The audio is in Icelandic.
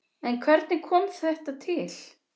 En hvernig kom þetta til?